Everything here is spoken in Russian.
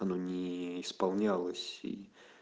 ну не исполнялась и